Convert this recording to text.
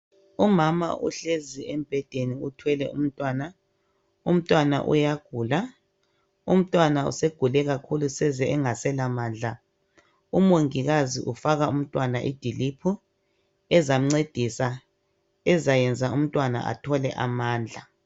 umama uhlezi embhedeni uthwele umntwana umntwana uyagula umntwana segule kakhulu sezengasela mandla umongikazi ufaka umntwana idiliphu ezamncedisa ezayenza umntwana athole amandla